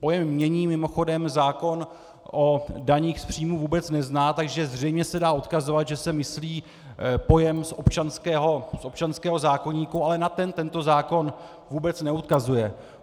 Pojem "jmění" mimochodem zákon o daních z příjmu vůbec nezná, takže zřejmě se dá odkazovat, že se myslí pojem z občanského zákoníku, ale na ten tento zákon vůbec neodkazuje.